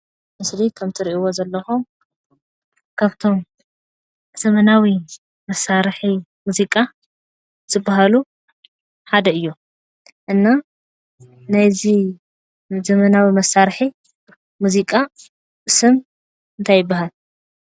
ኣብቲ ምስሊ ከም እትሪእዎ ዘለኹም ካብቶም ዘመናዊ መሳርሒ ሙዚቃ ዝበሃሉ ሓደ እዩ፡፡ እና ናይዚ ዘመናዊ መሳርሒ ሙዚቃ ስም እንታይ ይበሃል?